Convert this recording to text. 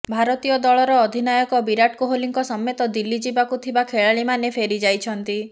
ଭାରତୀୟ ଦଳର ଅଧିନାୟକ ବିରାଟ କୋହଲିଙ୍କ ସମେତ ଦିଲ୍ଲୀ ଯିବାକୁ ଥିବା ଖେଳାଳିମାନେ ଫେରିଯାଇଛନ୍ତି